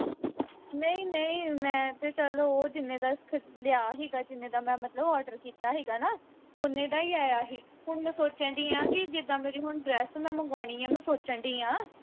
ਨਹੀਂ ਨਹੀਂ ਮੈਂ ਤੇ ਚੱਲ ਉਹ ਜਿੰਨੇ ਦਾ ਲਿਆ ਹੀਗਾ ਜਿੰਨੇ ਦਾ ਮੈਂ ਮਤਲਬ order ਕੀਤਾ ਹੀਗਾ ਨਾ ਉਨੇ ਦਾ ਹੀ ਆਇਆ ਹੀ ਹੁਣ ਮੈਂ ਸੋਚਣ ਦਈ ਆ ਕਿ ਜਿੱਦਾ ਮੇਰੀ ਹੁਣ dress ਮੈਂ ਮੰਗਵਾਉਣੀ ਆ ਮੈਂ ਸੋਚਣ ਦਈ ਆ